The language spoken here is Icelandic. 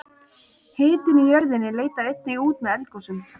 hitinn í jörðinni leitar einnig út með eldgosum